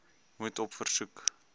moet op versoek